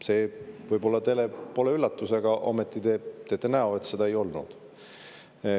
See võib-olla pole teile üllatus, aga ometi te teete näo, et seda ei olnud.